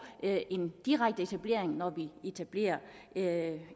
en direkte etablering når vi etablerer